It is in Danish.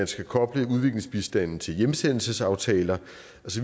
skal koble udviklingsbistanden til hjemsendelsesaftaler